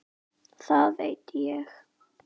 Það veit ég.